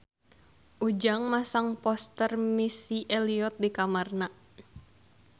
Ujang masang poster Missy Elliott di kamarna